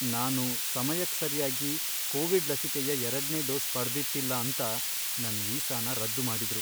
ನಾನು ಸಮಯಕ್ ಸರ್ಯಾಗಿ ಕೋವಿಡ್ ಲಸಿಕೆಯ ಎರಡ್ನೇ ಡೋಸ್ ಪಡ್ದಿತ್ತಿಲ್ಲ ಅಂತ ನನ್ ವೀಸಾನ ರದ್ದು ಮಾಡಿದ್ರು.